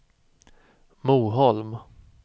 Moholm